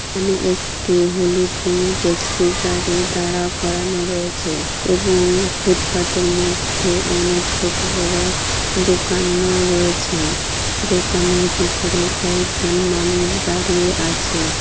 এখানে একটি হলুদ রঙের টেক্সি গাড়ি দাঁড়া করানো রয়েছেএবং ফুটপাতের মধ্যে অনেক ছোট বড়ো দোকান ও রয়েছে দোকানের ভিতরে কয়েকজন মানুষ দাঁড়িয়ে আছে।